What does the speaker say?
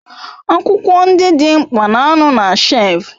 Akwukwo ndi di mkpa na ano na shef